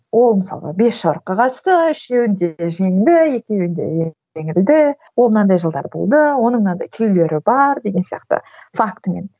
ол мысалға бес жорыққа қатысты үшеуінде жеңді екеуінде жеңілді ол мынандай жылдары болды оның мынандай күйлері бар деген сияқты фактімен